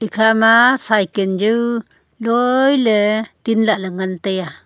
ikhama cycan jao loi ley tin lahle ngantaiya.